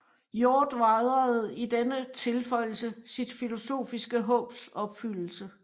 Hjort vejrede i denne tilføjelse sit filosofiske håbs opfyldelse